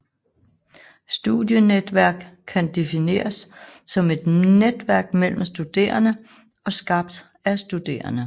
Studienetværk kan defineres som et netværk mellem studerende og skabt af studerende